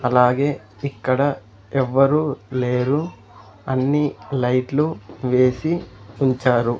అలాగే ఇక్కడ ఎవ్వరు లేరు అన్ని లైట్లు వేసి ఉంచారు.